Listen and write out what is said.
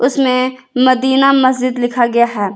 इसमें मदीना मस्जिद लिखा गया है।